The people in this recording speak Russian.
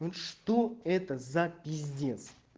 ну что это за пиздец